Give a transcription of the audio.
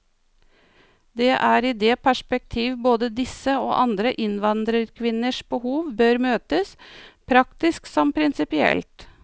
Det er i det perspektiv både disse og andre innvandrerkvinners behov bør møtes, praktisk som prinsipielt.